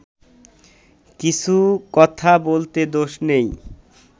কিছু কথা বলতে দোষ নেই